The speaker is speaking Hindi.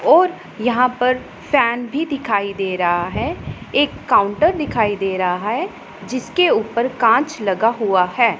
और यहां पर फैन भी दिखाई दे रहा है एक काउंटर दिखाई दे रहा है जिसके ऊपर कांच लगा हुआ है।